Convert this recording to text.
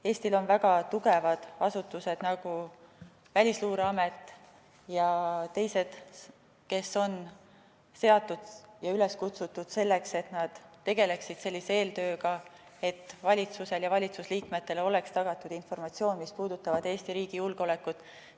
Eestil on väga tugevad asutused, nagu Välisluureamet ja teised, kes on seatud ja üles kutsutud selleks, et nad tegeleksid sellise eeltööga, et valitsusele ja valitsusliikmetele oleks tagatud informatsioon, mis puudutab Eesti riigi julgeolekut.